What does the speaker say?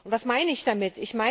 Was meine ich damit?